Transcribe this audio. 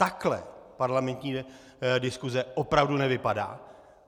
Takhle parlamentní diskuse opravdu nevypadá.